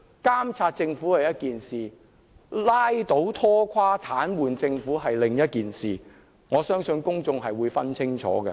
監察政府是一回事，拉倒、拖垮、癱瘓政府是另一回事，我相信公眾會分清楚。